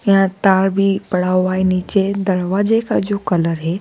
यह तार भी पढ़ा हुआ है नीचे दरवाजे का जो कलर है।